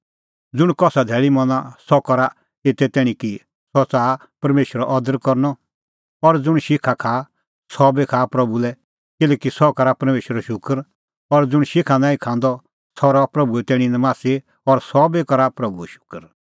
ज़ुंण कसा धैल़ी मना सह करा एता एते तैणीं कि सह च़ाहा परमेशरो अदर करनअ और ज़ुंण शिखा खाआ सह भी खाआ प्रभू लै किल्हैकि सह करा परमेशरो शूकर और ज़ुंण शिखा नांईं खांदअ सह रहा प्रभूए तैणीं नमासी और सह बी करा प्रभूओ शूकर